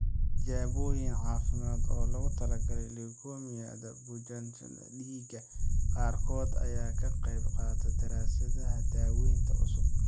Tijaabooyin Caafimaad oo loogu talagalay Leukemia-da Bukaanjiifka dhiigga qaarkood ayaa ka qaybqaata daraasadaha daawaynta cusub.